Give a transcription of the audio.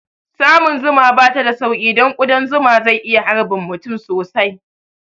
Samun zuma bata da sauƙi don ƙudan zuma zai iya harbin mutum sosai